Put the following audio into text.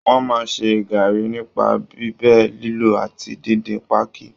Wọ́n máa ń ṣe gaàrí nipa bíbẹ, lílọ̀ àti díndín páákí